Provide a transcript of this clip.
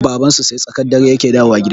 Babansu sai tsakar dare yake dawowa gida